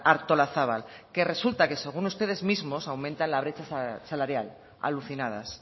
artolazabal que resulta que según ustedes mismos aumentan la brecha salarial alucinadas